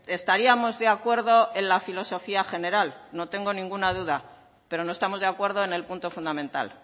estaríamos de acuerdo en la filosofía general no tengo ninguna duda pero no estamos de acuerdo en el punto fundamental